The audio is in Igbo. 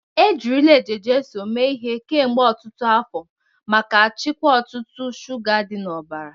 Ejirila Eje-Jesu mee ihe kemgbe otutu afo maka chịkwaa ọ̀tụ̀tụ̀ shuga dị n’ọbara.